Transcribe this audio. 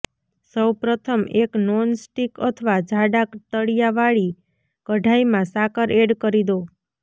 સૌ પ્રથમ એક નોન સ્ટિક અથવા જાડા તળિયા વાળી કઢાઈમાં સાકર એડ કરી દો